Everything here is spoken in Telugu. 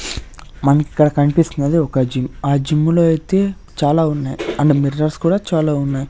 మనకిక్కడ కనిపిస్తున్నది ఒక జిమ్ ఆ జిమ్ లో ఐతే చాలా ఉన్నాయ్ అండ్ మిర్రర్స్ కూడా చాలా ఉన్నాయ్.